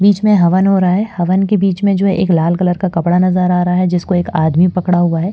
बीच में हवन हो रहा है हवन के बीच में जो एक लाल कलर का कपड़ा नजर आ रहा है जिसको एक आदमी पकड़ा हुआ है।